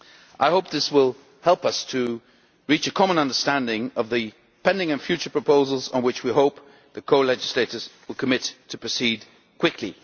CCC. I hope this will help us reach a common understanding of the pending and future proposals on which we hope the co legislators will commit to proceed quickly.